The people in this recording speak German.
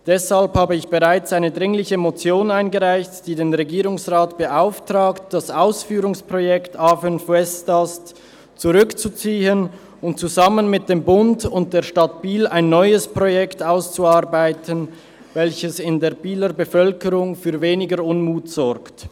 Deshalb habe ich bereits eine dringliche Motion eingereicht, die den Regierungsrat beauftragt, das Ausführungsprojekt A5 Westast zurückzuziehen und zusammen mit dem Bund und der Stadt Biel ein neues Projekt auszuarbeiten, welches in der Bieler Bevölkerung für weniger Unmut sorgt.